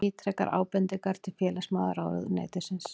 Ítrekar ábendingar til félagsmálaráðuneytisins